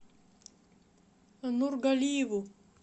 нургалиеву